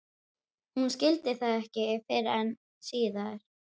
Hún skildi það ekki fyrr en síðar.